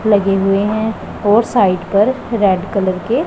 लगे हुए हैं और साइड पर रेड कलर के--